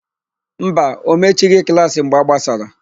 Mba, o mechighị klaasị mgbe a gbasara.